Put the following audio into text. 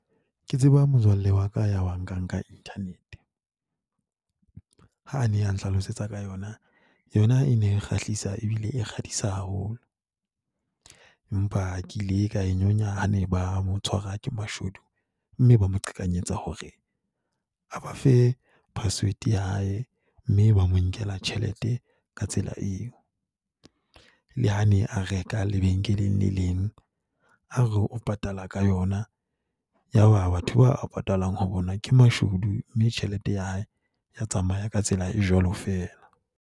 Ke tseba motswalle wa ka ya wa nkang ka internet, ha ne a nhlalosetsa ka yona. Yona e ne kgahlisa ebile e kgafisa haholo, empa ke ile ka e nyonya ha ne ba mo tshwara ke mashodu mme ba mo qhekanyetsa hore a ba fe password ya hae mme ba mo nkela tjhelete ka tsela eo. Le ha ne a reka lebenkeleng le leng, a re o patala ka yona. Ya ba batho bao a patalang ho bona ke mashudu mme tjhelete ya hae ya tsamaya ka tsela e jwalo feela.